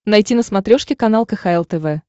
найти на смотрешке канал кхл тв